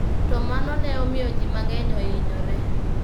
To mano ne omiyo ji mang'eny ohinyore.